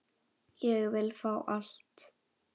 Ég vil fá allt.